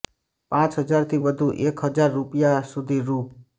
પાંચ હજારથી વધુ એક હજાર રૃપિયા સુધી રૃ